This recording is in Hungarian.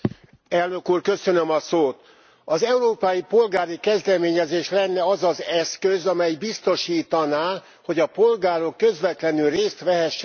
Az Európai Polgári Kezdeményezés lenne az az eszköz, amely biztosítaná, hogy a polgárok közvetlenül részt vehessenek az uniós döntéshozatalban.